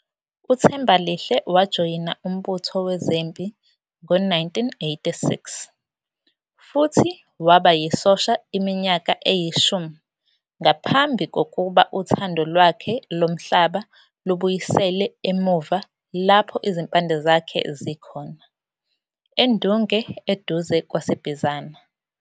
UThembalihle wajoyina umbutho wezempi ngo-1986 futhi waba yisosha iminyaka eyishumi ngaphambi kokuba uthando lwakhe lomhlaba lubuyisele emuva lapho izimpande zakhe zikhona - eNdunge eduze kwaseBizana.